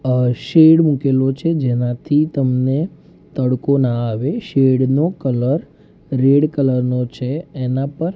અ shade મુકેલો છે જેનાથી તમને તડકો ના આવે શેડ નો કલર રેડ કલર નો છે એના પર--